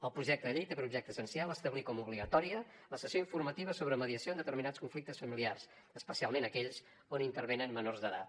el projecte de llei té per objecte essencial establir com a obligatòria la sessió informativa sobre mediació en determinats conflictes familiars especialment aquells on intervenen menors d’edat